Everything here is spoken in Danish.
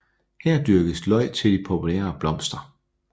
Her dyrkes løg til de populære blomster